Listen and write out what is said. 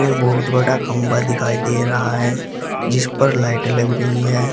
एक बहुत बड़ा खंबा दिखाई दे रहा है जिस पर लाइटें लग रही है।